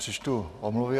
Přečtu omluvy.